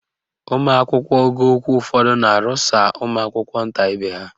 Ụmụakwụkwọ ogo ukwu ụfọdụ na-arụsa ụmụakwụkwọ nta ibe ha.